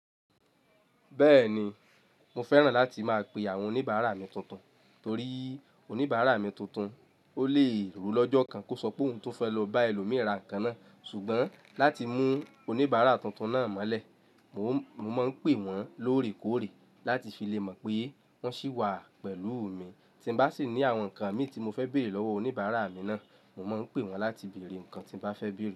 Bẹ́ẹ̀ni, mo fẹ́ràn láti máa pe àwọn oníbàárà mi tuntun torí oníbàárà mi tuntun, ó lè ro lọ́jọ́ kan kó sọ pé òun tún fẹ́ lọ bá ẹlòmí ràn kàná sùgbọ́n láti mú oníbàárà tuntun náà mọ́lẹ̀, mo máa ń pè wọ́n lóòrèkóòrè láti fi le mọ̀ pé wọ́n ṣì wà pẹ̀lú mi. Tí mo bá sì ní àwọn nǹkan mi tí mo fẹ́ bèrè lọ́wọ́ oníbàárà mi náà, mo máa ń pè wọ́n láti bèrè nǹkan tí mo bá fẹ́ bèrè.